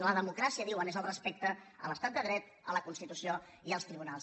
la democràcia diuen és el respecte a l’estat de dret a la constitució i als tribunals